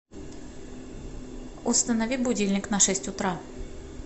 установи будильник на шесть утра